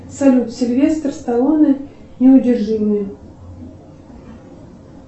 салют сильвестр сталлоне неудержимые